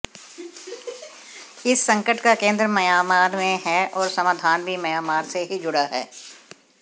इस संकट का केंद्र म्यांमार में है और समाधान भी म्यांमार से ही जुड़ा है